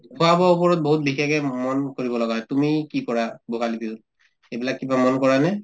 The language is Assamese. খোৱা-বোৱাৰ ওপৰত বহুত বিশেষে ম্ম মন কৰিব লগা হয় তুমি কি কৰা ভোগালী বিহুত এইবিলাক কিবা মন কৰানে ?